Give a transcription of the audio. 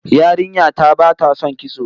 Yarinya ta bata son kitso